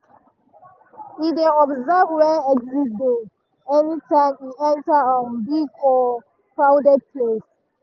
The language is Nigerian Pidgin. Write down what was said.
e dey observe where exit dey anytime e enter um big or crowded place.